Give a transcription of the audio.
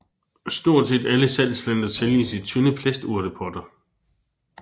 Stort set alle salgsplanter sælges i tynde plasturtepotter